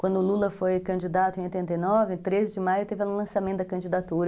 Quando o Lula foi candidato em oitenta e nove, em treze de maio, teve o lançamento da candidatura.